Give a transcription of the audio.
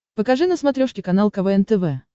покажи на смотрешке канал квн тв